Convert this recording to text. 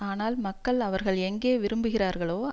ஆனால் மக்கள் அவர்கள் எங்கே விரும்புகிறார்களோ